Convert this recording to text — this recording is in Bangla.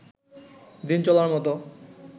দিন চলার মত